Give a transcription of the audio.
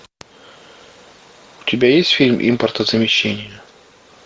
у тебя есть фильм импортозамещение